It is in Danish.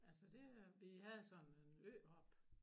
Altså det er vi sådan en øhop